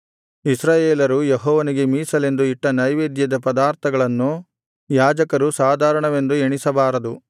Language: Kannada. ಇಸ್ರಾಯೇಲರು ಯೆಹೋವನಿಗೆ ಮೀಸಲೆಂದು ಇಟ್ಟ ನೈವೇದ್ಯದ ಪದಾರ್ಥಗಳನ್ನು ಯಾಜಕರು ಸಾಧಾರಣವೆಂದು ಎಣಿಸಬಾರದು